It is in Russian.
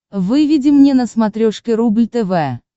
выведи мне на смотрешке рубль тв